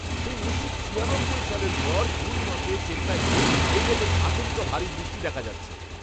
সেই উনিশশো ছিয়ানব্বই সালের পর জুন মাসে চেন্নাইতে এই রকম আচমকা ভারী বৃষ্টি দেখা যাচ্ছে।